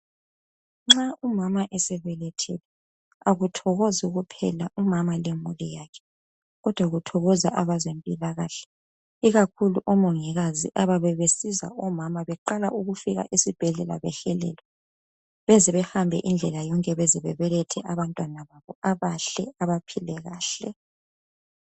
Nxa umama esebelethile akuthokozi kuphela umama lemuli yakhe . Kodwa kuthokoza abezempilakahle. Ikakhulu omongokazi abayabe besizwa omama beqala ukufika esibhedlela behelelwa beze behambe indlela yonke beze bebelethe abantwana babo abahle abaphile kahle .